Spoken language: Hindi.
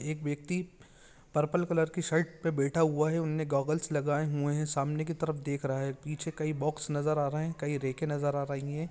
एक वक्ति पर्पल कॉलर की साइड पे बैठा हुआ है उन्होंने गॉगल्स लगाए हुए है सामने की तरफ़ देख रहा है पीछे कई बॉक्स नज़र आ रहे है कई रेखे नजर आ रही है।